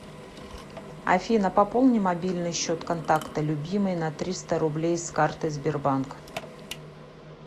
афина пополни мобильный счет контакта любимый на триста рублей с карты сбербанк